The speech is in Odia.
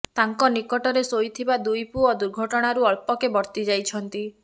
ତାଙ୍କ ନିକଟରେ ଶୋଇଥିବା ଦୁଇ ପୁଅ ଦୁର୍ଘଟଣାରୁ ଅଳ୍ପକେ ବର୍ତ୍ତି ଯାଇଛନ୍ତି